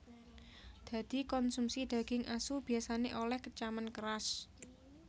Dadi konsumsi daging asu biyasané olèh kecaman keras